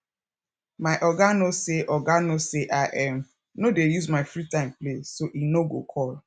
my oga no say oga no say i um no dey use my free time play so he no go call